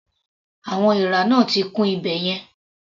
Àwọn èèrà náà ti kún ibẹ̀ yẹn.